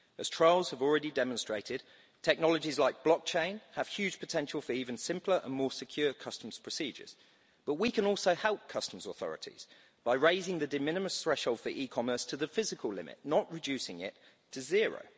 As trials have already demonstrated, technologies like blockchain have huge potential for even simpler and more secure customs procedures, but we can also help customs authorities by raising the de minimis threshold for e-commerce to the physical limit, not reducing it to zero.